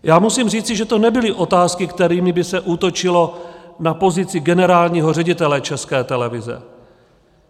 Já musím říci, že to nebyly otázky, kterými by se útočilo na pozici generálního ředitele České televize.